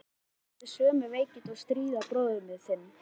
Mamma átti við sömu veikindi að stríða og bróðir þinn.